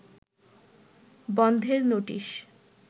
বন্ধের নোটিশ